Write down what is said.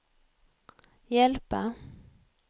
hjälpa